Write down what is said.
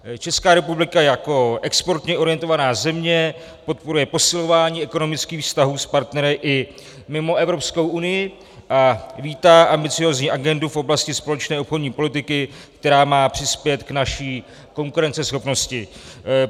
Česká republika jako exportně orientovaná země podporuje posilování ekonomických vztahů s partnery i mimo Evropskou unii a vítá ambiciózní agendu v oblasti společné obchodní politiky, která má přispět k naší konkurenceschopnosti.